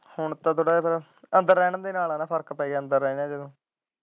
ਹੁਣ ਤਾ ਥੋੜਾ ਜਹਿਆ ਅੰਦਰ ਰਹਿਣ ਦੇ ਨਾਲ ਫਰਕ ਪੈ ਗਿਆ।